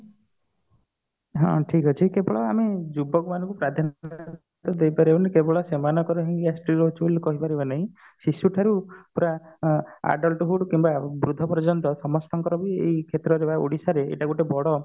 ହଁ ଠିକ ଅଛି କେବଳ ଆମେ ଯୁବକ ମାନଙ୍କୁ ଦେଇପାରିବାଣୀ କେବଳ ସେମାନଙ୍କର ହିଁ gastric ରହୁଛି ବୋଲି କହିପାରିବା ନାହିଁ ଶିଶୁ ଠାରୁ ପୁରା adulthood କିମ୍ବା ବୃଦ୍ଧ ପର୍ଯ୍ୟନ୍ତ ସମସ୍ତଙ୍କର ବି ଏଇ କ୍ଷେତ୍ରରେ ବା ଓଡିଶାରେ ଏଇଟା ଗୋଟେ ବଡ